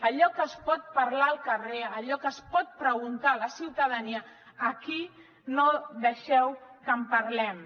allò que es pot parlar al carrer allò que es pot preguntar la ciutadania aquí no deixeu que en parlem